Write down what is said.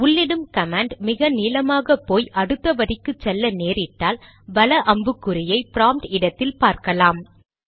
உள்ளிடும் command மிக நீளமாக போய் அடுத்த வரிக்கு செல்ல நேரிட்டால் வல அம்புக்குறியை ப்ராம்ப்ட் இடத்தில் பார்க்கலாம்